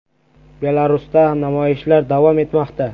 Belarusda namoyishlar davom etmoqda.